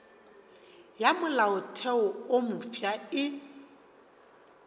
ya molaotheo wo mofsa e